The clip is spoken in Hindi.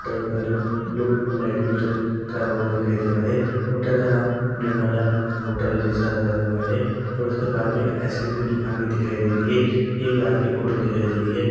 ब्लू और लाइट ब्लू से करा हुआ दिखाई दे रहा है होटल का नाम निर्मला होटल जैसा लग रहा है और उसके पास मैं आइसक्रीम की दुकान भी दिखाई दे रही है ये एक रात की फोटो दिखाई दे रही है।